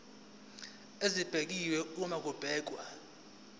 esibekiwe uma kubhekwa